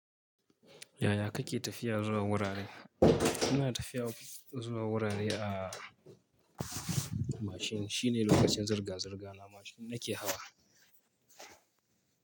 Yaya kake tafiya zuwa wurare? Ina tafiya zuwa wurare a mashin. Shi ne lokacin zirga-zirga na mashin na ke hawa.